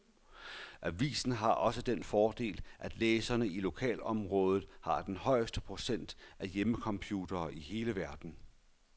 Avisen har også den fordel, at læserne i lokalområdet har den højeste procentdel af hjemmecomputere i hele verden.